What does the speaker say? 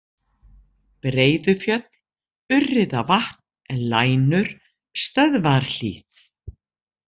Breiðufjöll, Urriðavatn, Lænur, Stöðvarhlíð